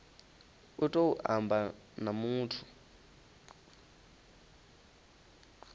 u tou amba na muthu